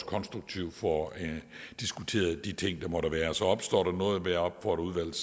konstruktivt får diskuteret de ting der måtte være så opstår der noget vil jeg opfordre udvalget